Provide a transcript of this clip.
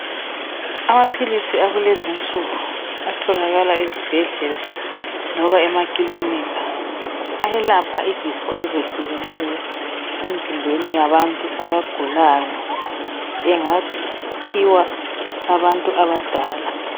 Amaphilisi akulezi insuku atholakala ezibhedlela loba emakilinika ayelapha izifo ezehlukeneyo emzimbeni yabantu abagulayo .Engaphiwa abantu abadala.